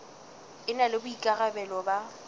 e na le boikarabelo ba